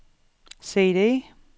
CD